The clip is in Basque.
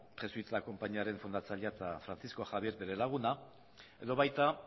jesuitas konpainiaren fundatzailea eta francisco javier bere laguna edo baita